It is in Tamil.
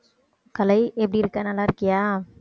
கலை எப்படி இருக்க நல்லா இருக்கியா